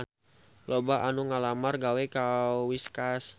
Loba anu ngalamar gawe ka Whiskas